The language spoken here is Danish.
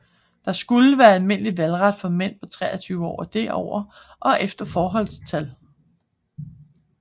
Der skulle være almindelig valgret for mænd på 23 år og derover og efter forholdstal